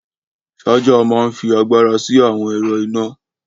Ṣaja máa ń fi agbára sí àwọn ẹ̀rọ iná